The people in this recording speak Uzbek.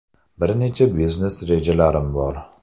Bir necha biznes rejalarim bor.